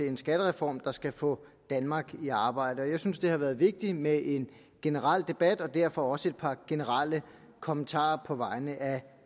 en skattereform der skal få danmark i arbejde jeg synes det har været vigtigt med en generel debat og derfor også et par generelle kommentarer på vegne af